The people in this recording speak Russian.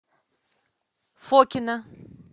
фокино